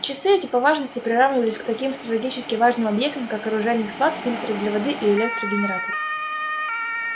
часы эти по важности приравнивались к таким стратегически важным объектам как оружейный склад фильтры для воды и электрогенератор